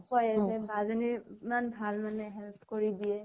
কয়, যে বা জনী ইমান ভাল মানে। help কৰি দিয়ে